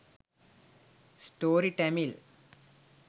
story tamil